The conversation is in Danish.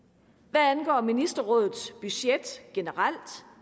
hvad angår ministerrådets budget generelt